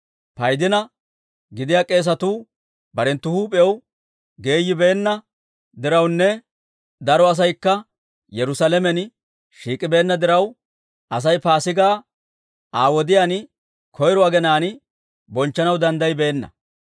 Paydina gidiyaa k'eesatuu barenttu huup'iyaw geeyibeenna dirawunne daro asaykka Yerusaalamen shiik'ibeenna diraw, Asay Paasigaa Aa wodiyaan, koyro aginaan bonchchanaw danddayibeenna.